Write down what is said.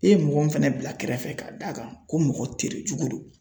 E ye mɔgɔ min fɛnɛ bila kɛrɛfɛ ka d'a kan ko mɔgɔ terejugu don